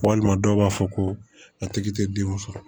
Walima dɔw b'a fɔ ko a tigi tɛ denw sɔrɔ